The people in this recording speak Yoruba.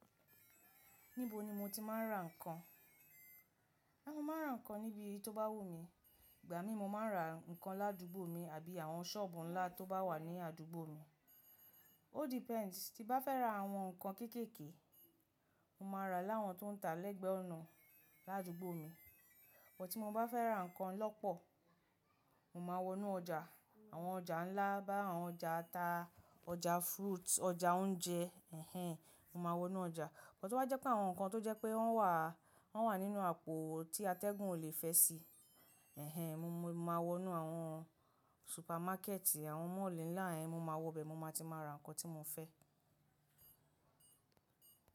Níbo ni mo ti máa ń ra ǹkan? Aà, mo máa ń ra ǹkan níbi tó bá wù mí. Ìgbà mímu máa ń ra ǹkan ládùúgbò mi àbí àwọn sọ́ọ̀bù ńlá tó bá wà ní àdúgbò mi. O depends tí bá fẹ́ ra àwọn ǹkan kéékèèkee, mo máa ra láwọn tó ń ta lẹ́gbẹ ọ̀nà ládùúgbò mi. Bọ́ tí mo bá fẹ́ ra ǹkan lọ́pọ̀, mo máa wọnú ọjà. Àwọn ọjà ńlá bi àwọn ọjà ata, ọjà fruits, ọjà oúnjẹ, ẹhn, mo máa wọnú ọjà. Bọ́ to ba jẹ́ pé àwọn ǹkan tó jẹ́ pé wọ́n wà, wọ́n wà nínú àpò tí atẹ́gùn ò le fẹ́ sí, ẹhn, mo, mo máa wọnú àwọn supermarket, àwọn mall ńlá ẹ, mo máa wọ bẹ mo máa ti máa ra ǹkan tí mo fẹ́.